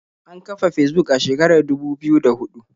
An kafa Fesbuk a shekarar dubu biyu da huɗu.